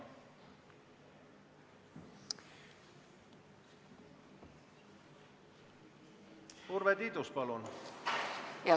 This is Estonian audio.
Urve Tiidus, palun!